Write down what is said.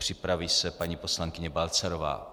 Připraví se paní poslankyně Balcarová.